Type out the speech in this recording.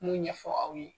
N m'o ɲɛfɔ aw ye